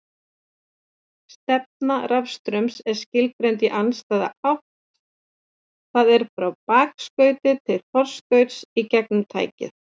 Stefna rafstraums er skilgreind í andstæða átt, það er frá bakskauti til forskauts gegnum tækið.